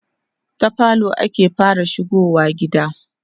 ta falo ake fara shigowa gida